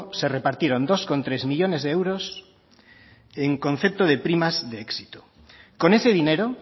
se repartieron dos coma tres millónes de euros en concepto de primas de éxito con ese dinero